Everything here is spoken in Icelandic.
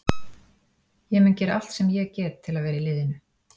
Ég mun gera allt sem ég get til að vera í liðinu.